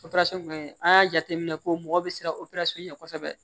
Operasɔn in an y'a jateminɛ ko mɔgɔ bɛ siran o ɲɛ kosɛbɛ